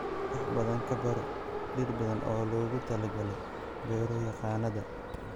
Wax badan ka baro dhir badan oo loogu talagalay beero-yaqaannada